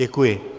Děkuji.